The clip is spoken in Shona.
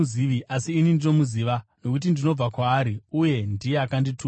asi ini ndinomuziva nokuti ndinobva kwaari, uye ndiye akandituma.”